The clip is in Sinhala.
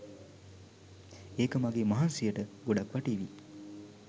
ඒක මගේ මහන්සියට ගොඩක් වටීවී.